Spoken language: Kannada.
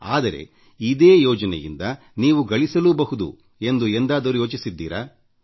ಆದರೆ ಇದೇ ಯೋಜನೆಯಿಂದ ನೀವು ಗಳಿಸಲೂಬಹುದು ಎಂದು ಎಂದಾದರೂ ಯೋಚಿಸಿದ್ದೀರಾ